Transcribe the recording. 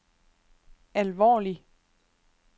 alvorlig